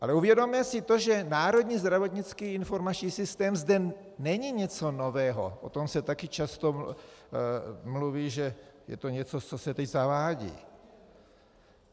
Ale uvědomme si to, že Národní zdravotnický informační systém zde není něco nového, o tom se také často mluví, že je to něco, co se teď zavádí.